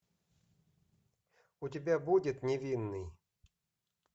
у тебя будет невинный